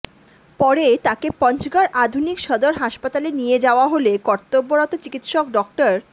পরে তাঁকে পঞ্চগড় আধুনিক সদর হাসপাতালে নিয়ে যাওয়া হলে কর্তব্যরত চিকিৎসক ডা